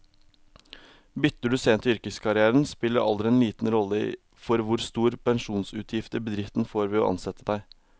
Bytter du sent i yrkeskarrieren, spiller alder liten rolle for hvor store pensjonsutgifter bedriften får ved å ansette deg.